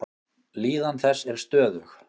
Líðan þess er stöðug.